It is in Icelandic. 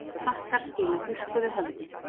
Frakkar skila þurrkuðu höfði